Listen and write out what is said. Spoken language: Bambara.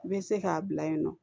I bɛ se k'a bila yen nɔ